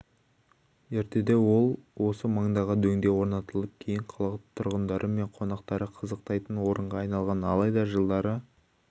ертеде ол осы маңдағы дөңде орнаталып кейін қала тұрғындары мен қонақтары қызықтайтын орынға айналған алайда жылдары